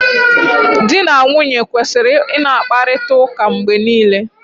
Di na nwunye kwesịrị ị na-akparịta ụka mgbe niile.